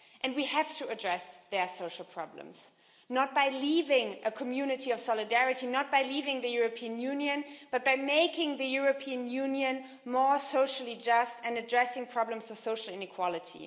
We have to address their social problems not by leaving a community of solidarity, not by leaving the European Union, but by making the European Union more socially just and addressing problems of social inequality.